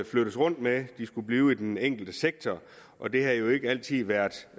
flyttes rundt med de skulle blive i den enkelte sektor og det har jo ikke altid været